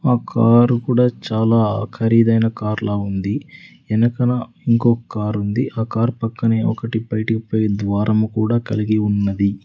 ఆ కారు కూడా చాలా ఖరీదైన కార్ లా ఉంది ఎనకన ఇంకో కారుంది ఆ కార్ పక్కనే ఒకటి బయటికి పోయే ద్వారము కూడా కలిగి ఉన్నది.